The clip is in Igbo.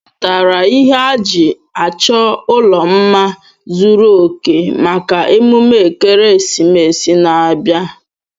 Ị zụtara ihe a ji achọ ụlọ mma zuru òkè maka emume ekeresimesi na-abịa?